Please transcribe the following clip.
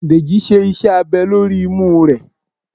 Dejí sé iṣẹ abè lorí imú re